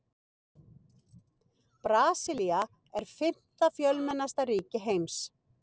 Brasilía er fimmta fjölmennasta ríki heims.